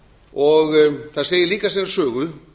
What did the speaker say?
og það segir líka sína sögu